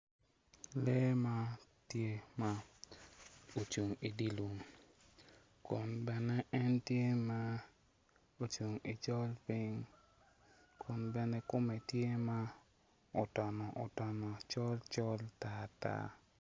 Lee man tye ocung i dye lum kun bene en tye ma ocung i col piny kun bene kume tye ma otono otono col col tar tar.